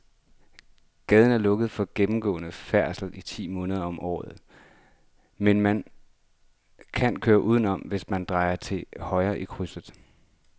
Gaden er lukket for gennemgående færdsel ti måneder om året, men man kan køre udenom, hvis man drejer til højre i krydset.